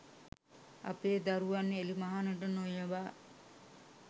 අපේ දරුවන් එළිමහනට නොයවා